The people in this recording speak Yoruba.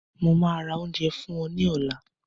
Mo máa ra oúnjẹ fún ọ ní ọ̀la